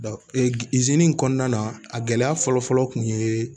in kɔnɔna na a gɛlɛya fɔlɔ fɔlɔ kun ye